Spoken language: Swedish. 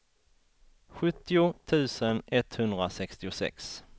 sjuttio tusen etthundrasextiosex